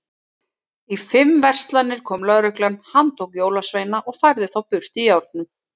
Í fimm verslanir kom lögreglan, handtók jólasveina og færði þá burt í járnum.